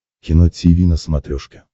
кино тиви на смотрешке